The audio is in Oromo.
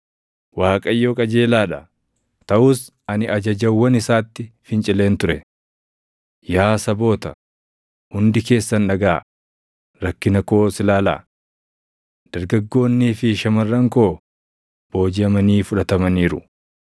“ Waaqayyo qajeelaa dha; taʼus ani ajajawwan isaatti fincileen ture. Yaa saboota, hundi keessan dhagaʼaa; rakkina koos ilaalaa. Dargaggoonnii fi shamarran koo boojiʼamanii fudhatamaniiru.